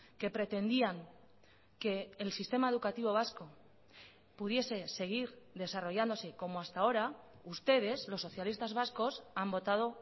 que pretendían que el sistema educativo vasco pudiese seguir desarrollándose como hasta ahora ustedes los socialistas vascos han votado